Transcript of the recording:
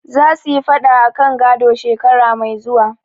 Za su yi faɗa akan gado, shekara mai zuwa.